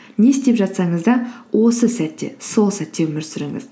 не істеп жатсаңыз да осы сәтте сол сәтте өмір сүріңіз